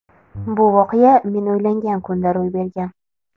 Bu voqea men uylangan kunda ro‘y bergan.